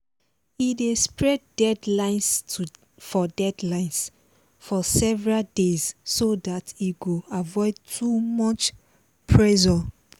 e dey spread deadlines for deadlines for several days so dat e go avoid too much pressure